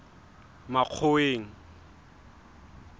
makgoweng